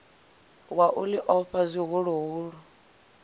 wa u ḽi ofha zwihuluhulu